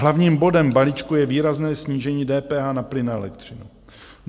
Hlavním bodem balíčku je výrazné snížení DPH na plyn a elektřinu.